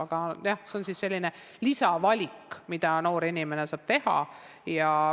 Aga jah, see on selline lisavalik, mida noor inimene saab teha.